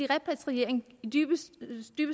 repatriering kan dybest